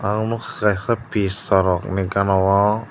aro nogkha kaisa pissarok hinui gana o.